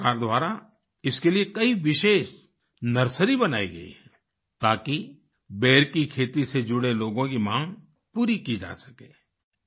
सरकार द्वारा इसके लिए कई विशेष नर्सरी बनाई गई हैं ताकि बेर की खेती से जुड़े लोगों की माँग पूरी की जा सके